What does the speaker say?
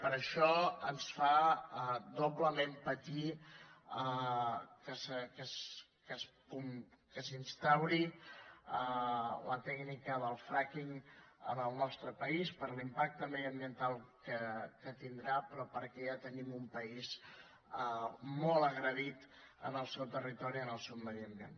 per això ens fa doblement patir que s’instauri la tècnica del frackingdiambiental que tindrà però perquè ja tenim un país molt agredit en el seu territori en el seu medi ambient